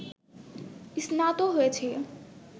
স্নাত হয়েছি